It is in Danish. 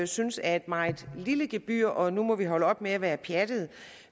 synes er et meget lille gebyr og nu må vi holde op med at være pjattede